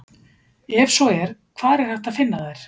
Ef svo er hvar er hægt að finna þær?